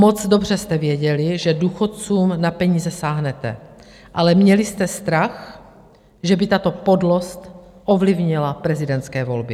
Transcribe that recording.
Moc dobře jste věděli, že důchodcům na peníze sáhnete, ale měli jste strach, že by tato podlost ovlivnila prezidentské volby.